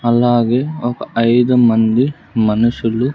అలాగే ఒక ఐదు మంది మనుషులు.